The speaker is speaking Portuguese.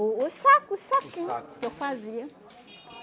O os saco, os saquinho que eu fazia.